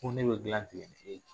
Ko ne be gilan tigɛ